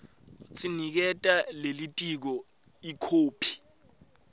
niketa lelitiko ikhophi